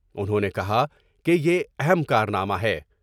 انہوں نے کہا کہ یہ اہم کارنامہ ہے ۔